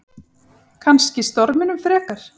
Kannski storminum frekar.